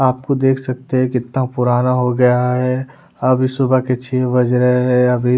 आप खुद देख सकते हैं कितना पुराना हो गया है अभी सुबह के छे बज रहे हैं अभी--